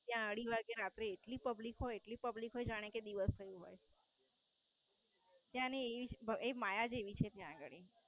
ત્યાં અઢી વાગે આપડે એટલું Public હોય જાણે કે દિવસ જેવું હોય ત્યાંની એજ ત્યાંની માયા એ માયા જ એવી છે ત્યાં આગળ.